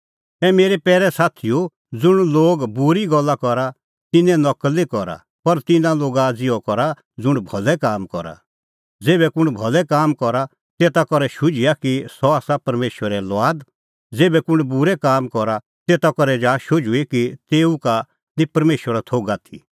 ए मेरै पैरै साथीओ ज़ुंण लोग बूरी गल्ला करा तिन्नें नकल निं करा पर तिन्नां लोगा ज़िहअ करा ज़ुंण भलै काम करा ज़ेभै कुंण भलै काम करा तेता करै शुझिआ कि सह आसा परमेशरे लुआद ज़ेभै कुंण बूरै काम करा तेता करै जा शुझुई कि तेऊ का निं परमेशरो थोघ आथी